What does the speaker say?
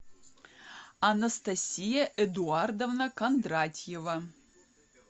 анастасия эдуардовна кондратьева